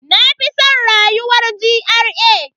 Na fi san rayuwar GRA.